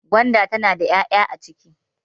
gwanda tana da ya'ya a ciki